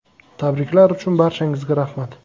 Tabriklar uchun barchangizga rahmat.